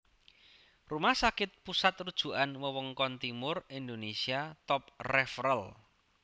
Rumah Sakit Pusat Rujukan Wewengkon Timur Indonesia Top Referal